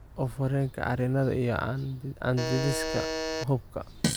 oof wareenka cariina, iyo candidiasiska xuubka.